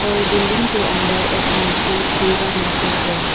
और बिल्डिंग के अंदर एक मूर्ति दुर्गा मां का है।